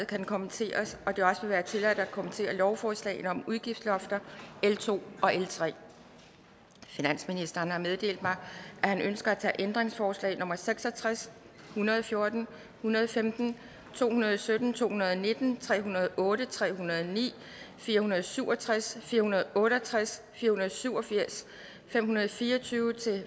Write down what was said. kan kommenteres og at det også vil være tilladt at kommentere lovforslagene om udgiftslofter l to og l tredje finansministeren har meddelt mig at han ønsker at tage ændringsforslag nummer seks og tres en hundrede og fjorten en hundrede og femten to hundrede og sytten to hundrede og nitten tre hundrede og otte tre hundrede og ni fire hundrede og syv og tres fire hundrede og otte og tres fire hundrede og syv og firs fem hundrede og fire og tyve til